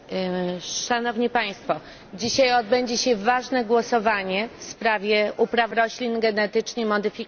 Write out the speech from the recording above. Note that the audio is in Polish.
Pani Przewodnicząca! Dzisiaj odbędzie się ważne głosowanie w sprawie upraw roślin genetycznie modyfikowanych.